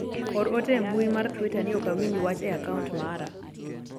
or ote e mbui mar twita ni ok awinj wach e akaunt mara